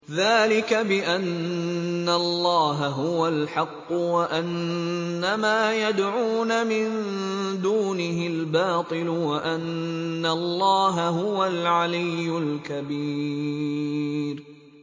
ذَٰلِكَ بِأَنَّ اللَّهَ هُوَ الْحَقُّ وَأَنَّ مَا يَدْعُونَ مِن دُونِهِ الْبَاطِلُ وَأَنَّ اللَّهَ هُوَ الْعَلِيُّ الْكَبِيرُ